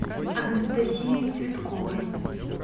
анастасией цветковой